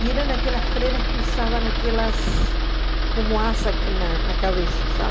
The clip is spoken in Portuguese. E eram aquelas freiras que usavam aquelas como asas aqui na na cabeça,